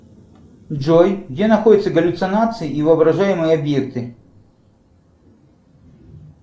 джой где находятся галлюцинации и воображаемые объекты